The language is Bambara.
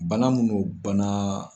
Bana minnu bana